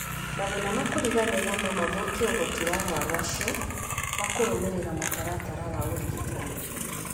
Mathĩna ma kũriganĩrũo no mathũkie ũhoti wa arũaru acio wa kũrũmĩrĩra mũtaratara wa ũrigitani.